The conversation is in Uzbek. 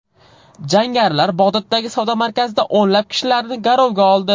Jangarilar Bag‘doddagi savdo markazida o‘nlab kishilarni garovga oldi.